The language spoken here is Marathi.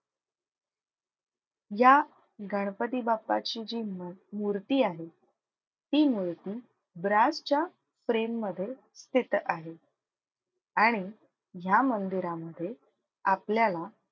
या गणपती बाप्पाची जी मूर्ती आहे ती मूर्ती ब्रासच्या frame मध्ये स्थित आहे. आणि ह्या मंदिरामधे आपल्याला,